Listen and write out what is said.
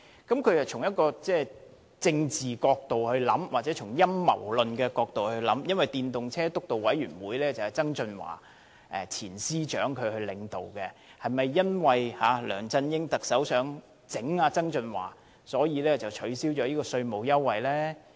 他是從一個政治角度或陰謀論的角度來考慮，因為推動使用電動車輛督導委員會是前司長曾俊華領導的，是否因為特首梁振英想整治曾俊華，所以降低了這項稅務優惠？